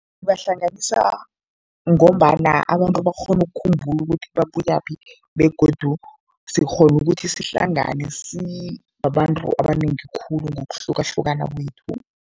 Ibahlanganisa ngombana abantu bakghona ukukhumbula ukuthi babuyaphi begodu sikghona ukuthi sihlangane sibabantu abanengi khulu ngokuhlukahlukana kwethu.